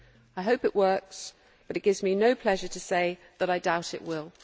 I hope it works, and it gives me no pleasure to say that I doubt it will.